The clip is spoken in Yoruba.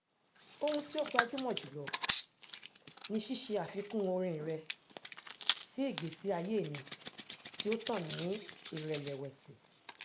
ohun tí ó gbajúmọ jùlọ ni ṣíṣe àfikún orin rẹ sí ìgbésí ayé mi tí ó tàn ní ìrẹlẹwẹsì